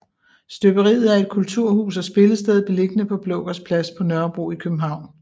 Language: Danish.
Støberiet er et kulturhus og spillested beliggende på Blågårds Plads på Nørrebro i København